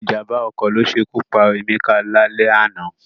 Ìjàm̀bá ọkọ̀ ló ṣe ikú pa Emeka lálẹ́ àná